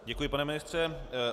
Děkuji, pane ministře.